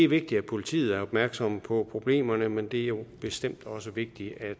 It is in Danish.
vigtigt at politiet er opmærksom på problemerne men det er jo bestemt også vigtigt at